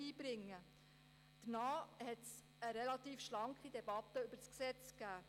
Danach gab es eine relativ schlanke Debatte über das LKG.